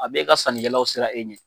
A b'e ka sanikɛlaw siran e ɲɛ.